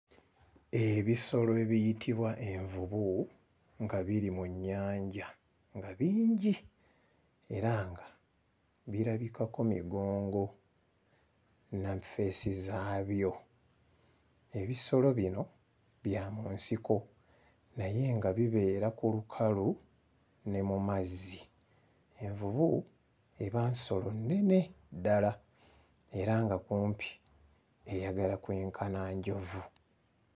Ebisolo ebiyitibwa envubu nga biri mu nnyanja nga bingi era nga birabikako migongo na ffeesi zaabyo. Ebisolo bino bya mu nsiko naye nga bibeera ku lukalu ne mu mazzi. Envubu eba nsolo nnene ddala era nga kumpi eyagala kwenkana njovu.